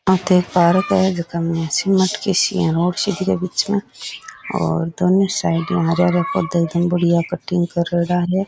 अठे पार्क है जका सी मटका सी रोड सी दिखे बिच में और दोनों साइड में हरे हरे पौधे एकदम बढ़िया कटिंग करेडा है।